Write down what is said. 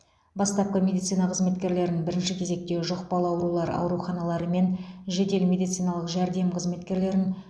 бастапқыда медицина қызметкерлерін бірінші кезекте жұқпалы аурулар ауруханалары мен жедел медициналық жәрдем қызметкерлерін